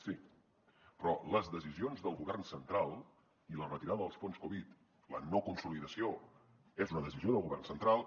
sí però les decisions del govern central i la retirada dels fons covid la no consolidació és una decisió del govern central